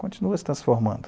Continua se transformando.